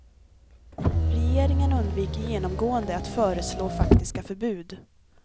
Regeringen undviker genomgående att föreslå faktiska förbud.